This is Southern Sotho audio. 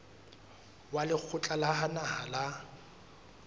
wa lekgotla la naha la